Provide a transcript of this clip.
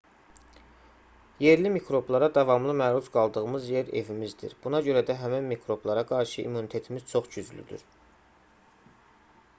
yerli mikroblara davamlı məruz qaldığımız yer evimizdir buna görə də həmin mikroblara qarşı immunitetimiz çox güclüdür